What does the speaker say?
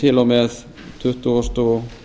til og með tuttugasta og